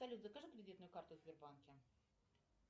салют закажи кредитную карту в сбербанке